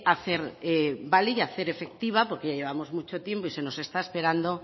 hacer valer y hacer efectiva porque ya llevamos mucho tiempo y se nos está esperando